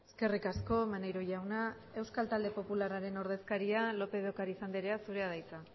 eskerrik asko maneiro jauna euskal talde popularraren ordezkaria lópez de ocariz andrea zurea da hitza